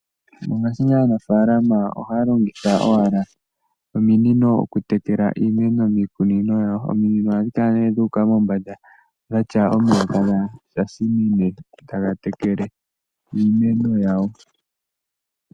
Mongashingeyi aanafaalama ohaya longitha owala ominino okutekela iimeno miikunino yawo. Ominino ohadhi kala ne dhuuka mombanda dhatya omahala taga tsinine taga tekele iimeno yawo.